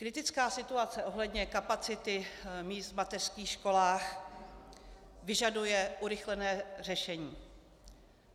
Kritická situace ohledně kapacity míst v mateřských školách vyžaduje urychlené řešení.